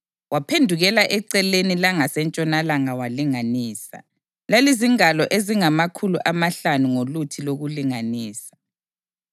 Waphendukela eceleni langasentshonalanga walinganisa; lalizingalo ezingamakhulu amahlanu ngoluthi lokulinganisa.